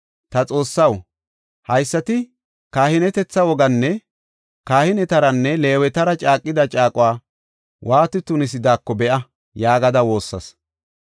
“Ta Xoossaw, haysati kahinetetha wogaanne kahinetaranne Leewetara caaqida caaquwa waati tunisidaako be7a” yaagada woossas.